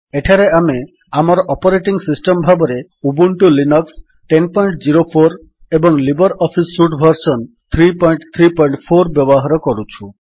ଏଠାରେ ଆମେ ଆମର ଅପରେଟିଙ୍ଗ୍ ସିଷ୍ଟମ୍ ଭାବରେ ଉବୁଣ୍ଟୁ ଲିନକ୍ସ ୧୦୦୪ ଏବଂ ଲିବର୍ ଅଫିସ୍ ସୁଟ୍ ଭର୍ସନ୍ ୩୩୪ ବ୍ୟବହାର କରୁଛୁ